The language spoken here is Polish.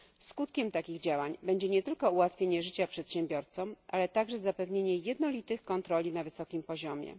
Skutkiem takich działań będzie nie tylko ułatwienie życia przedsiębiorcom, ale także zapewnienie jednolitych kontroli na wysokim poziomie.